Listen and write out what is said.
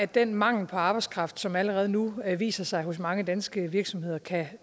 den mangel på arbejdskraft som allerede nu viser sig i mange danske virksomheder kan